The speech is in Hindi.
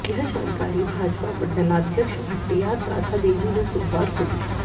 यह जानकारी भाजपा मंडलाध्यक्ष भट्टियात राधा देवी ने सोमवार को दी